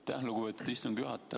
Aitäh, lugupeetud istungi juhataja!